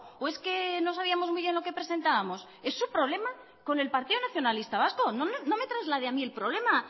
o es que no sabíamos muy bien lo que presentábamos es su problema con el partido nacionalista vasco no me traslade a mí el problema